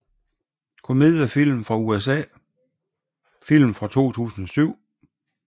Komediefilm fra USA Film fra 2007